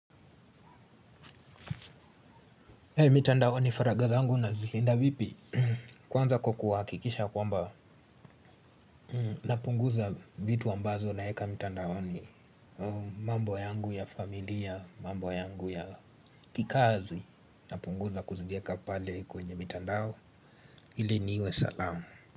Hei mitandaoni faragha zangu nazilinda vipi kwanza kwa kuhakikisha kwamba napunguza vitu ambazo naeka mitandaoni mambo yangu ya familia, mambo yangu ya kikazi napunguza kuzieka pale kwenye mitandao ili niwe salama.